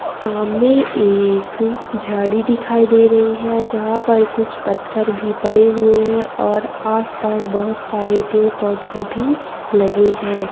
सामने एक झाड़ी दिखाई दे रही है जहाँ पर कुछ पत्थर भी पड़े हुए है और आस पास बहुत सारे पेड़ पौधे भी लगे है।